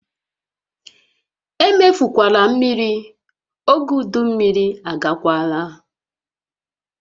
Emefukwala mmiri! Ógè udu mmiri agakwaala!